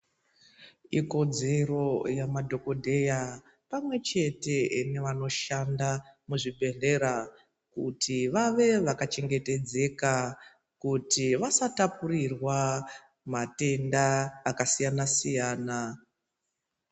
Ikodzero yemadhogodheya pamwe nevanoshanda muzvibhedhlera kuti vave vakachengetedzeka kuti vasatapurirwa matenda akasiyana-siyana.